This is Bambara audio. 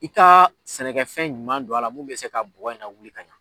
I ta sɛnɛkɛfɛn ɲuman don a la mun bɛ se ka bɔgɔ in lawuli ka ɲa.